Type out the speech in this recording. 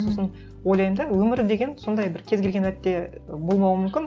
сосын ойлаймын да өмір деген сондай бір кез келген сәтте болмауы мүмкін